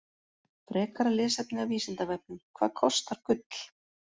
Frekara lesefni af Vísindavefnum: Hvað kostar gull?